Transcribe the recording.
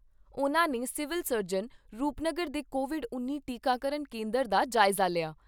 ਉਨ੍ਹਾਂ ਨੇ civil surgeon Rupnagar ਦੇ ਕੋਵਿਡ ਉੱਨੀ ਟੀਕਾਕਰਨ ਕੇਂਦਰ ਦਾ ਜਾਇਜ਼ਾ ਲਿਆ।